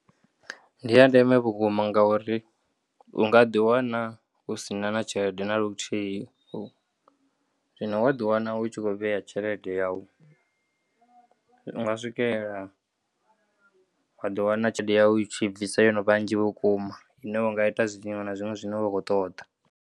Ndi ya ndeme vhukuma ngauri unga ḓiwana usina na tshelede naluthihi, zwino wa ḓiwana u tshi khou vheya tshelede yau, u nga swikelela wa ḓi wana tshelede yau u tshi ibvisa yo no vha nnzhi vhukuma ine u nga ita zwiṅwe na zwiṅwe zwine wa kho ṱoḓa.